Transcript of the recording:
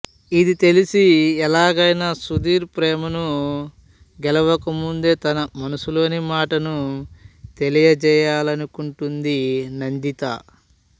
ఇది తెలిసి ఎలాగైనా సుధీర్ ప్రేమను గెలవకముందే తన మనసులోని మాటను తెలియజేయాలనుకుంటుంది నందిత